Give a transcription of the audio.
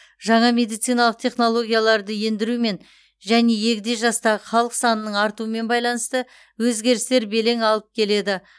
жаңа медициналық технологияларды ендірумен және егде жастағы халық санының артуымен байланысты өзгерістер белең алып келеді